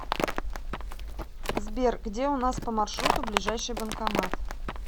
сбер где у нас по маршруту ближайший банкомат